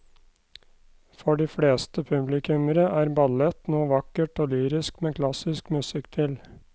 For de fleste publikummere er ballett noe vakkert og lyrisk med klassisk musikk til.